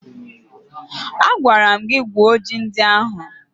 Agwara m gị wuo ji ndị ahụ!